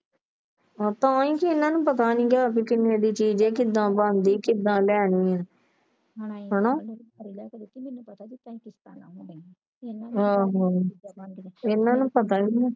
ਤਾ ਕੇ ਇਹਨਾਂ ਨੂੰ ਪਤਾ ਨਹੀਂ ਗਾ ਆਵਦੇ ਕਿਨੇ ਦੀ ਚੀਜ ਆ ਕਿਦਾਂ ਬਣਦੀ ਕਿਦਾਂ ਲੈਣੀ ਹਣਾ ਆਹੋ ਇਹਨਾਂ ਨੂੰ ਪਤਾ ਹੀ ਨਹੀਂ